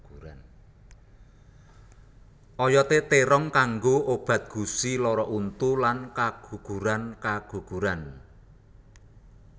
Oyodé térong kanggo obat gusi lara untu lan kagugurankaguguran